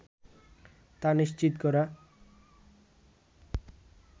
তা নিশ্চিত করা